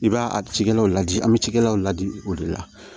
I b'a a cikɛlaw ladi an bɛ cikɛlaw ladi o de la